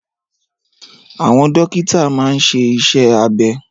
Àwọn dókítà máa n ṣe iṣẹ́ abẹ